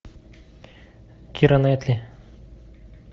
кира найтли